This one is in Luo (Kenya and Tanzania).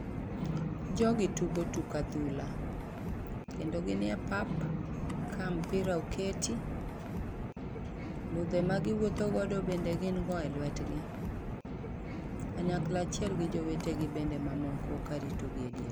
Jogi tugo tuk adhula, kendo gin e pap ka mpira oketi, ludhe magiwuotho godo bende gin go elwetgi kanyakla achiel gi jowetegi bende mamoko karitogi edier.